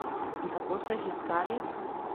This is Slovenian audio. In kako so jih iskali?